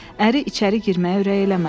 Əri içəri girməyə ürək eləmədi.